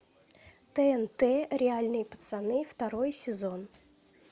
тнт реальные пацаны второй сезон